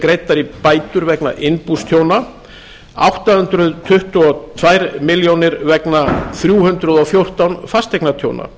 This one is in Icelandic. greiddar í bætur vegna innbústjóna átta hundruð tuttugu og tvær milljónir vegna þrjú hundruð og fjórtán fasteignatjóna